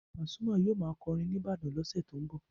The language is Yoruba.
Pasuma yóò máa kọrin ní Ibadan lọ́sẹ̀ tó ń bọ̀.